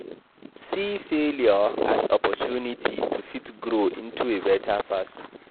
See failure as opportunity to fit grow into a better person